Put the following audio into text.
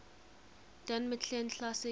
don mclean classics